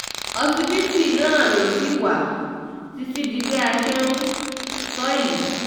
òṣìbìtì náà ṣì ló wà títí di bá a ṣe ń sọ ọ́ yìí